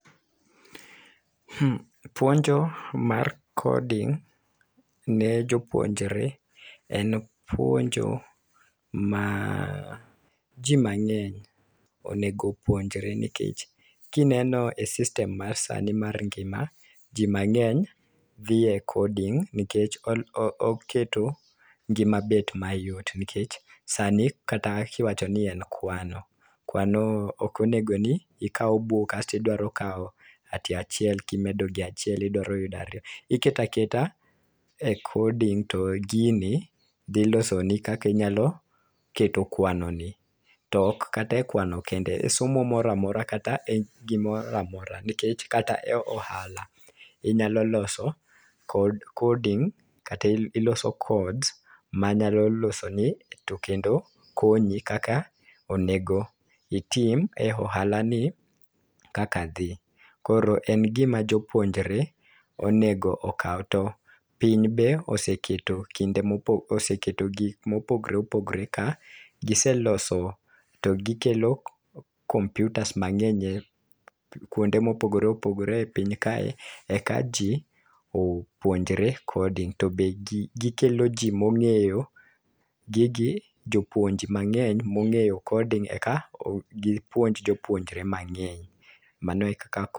Puonjo mar coding ne jopuonjre en puonjo ma jii mang'eny onego puonjre nikech kineno e system ma sani mar ngima jii mang'eny dhi e coding nikech oketo ngima bet mayot nikech sani kiwacho ni en kwano, kwano ok onego ni iwako buk kasto iwdaro kawo achiel kimedo gi achiel idwaro yuda ariyo. Iketaketa e coding to gini dhi losoni kaki nyalo keto kwani ni tok kata e kwano kende somo moro kata e gimoramora. nikech Kata ohala e ohala inyalo loso kod koding kata iloso kod manyalo konyi kaka onego itim e ohala ni kaka dhi. Koro en gima jopuonjre onego okaw to piny be oseketo kinde mo gik mopogore ka giseloso to gikelo computers mang'eny kuonde mopogore opogore e piny aka eka jii opuonjre coding . To be gi gikelo jii mong'eyo gigi jopuonj mang'eny mong'eyo coding eka gipuonj jopuonjre mang'eny. Mano e kaka coding